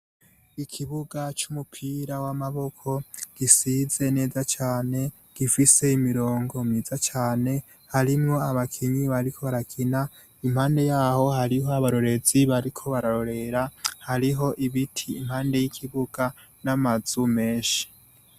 Ikibuga c'umupira w'amaboko gisize neza cane gifise imirongo myiza cane harimwo abakinyi bariko barakina impande yaho hariho abakinyi bariko barakina hariho ibiti impande yikibuga namazu menshi.